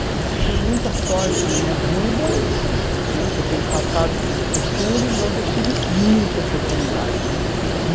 Eu tive muita sorte na minha vida né, por ter passado por por tudo, mas eu tive muita oportunidade na minha vida.